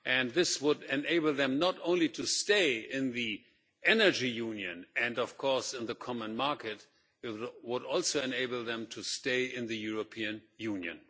This would enable them not only to stay in the Energy Union, and of course in the common market, but it would also enable them to stay in the European Union.